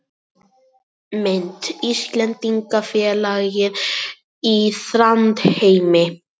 Mynd: Íslendingafélagið í Þrándheimi